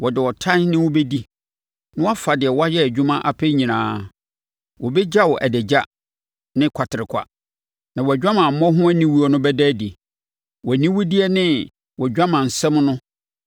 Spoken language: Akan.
Wɔde ɔtan ne wo bɛdi, na wɔafa deɛ woayɛ adwuma apɛ nyinaa. Wɔbɛgya wo adagya ne kwaterekwa, na wʼadwamammɔ ho aniwuo no bɛda adi. Wʼaniwudeɛ ne wʼadwamansɛm no